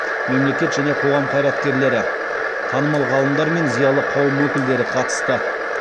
мемлекет және қоғам қайраткерлері танымал ғалымдар мен зиялы қауым өкілдері қатысты